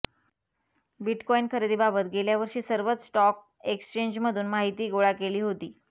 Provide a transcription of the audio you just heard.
bitcoin खरेदीबाबत गेल्यावर्षी सर्वच स्टॉक एक्स्चेंजमधून माहिती गोळा केली होती